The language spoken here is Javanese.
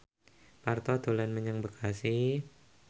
Parto dolan menyang Bekasi